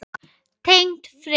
Tengd frétt